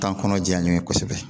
Taa kɔnɔ diya n'u ye kosɛbɛ